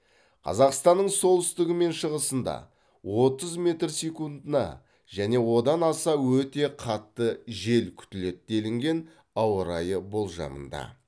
қазақстанның солтүстігі мен шығысында отыз метр секундына және одан аса өтте қатты жел күтіледі деліген ауа райы болжамында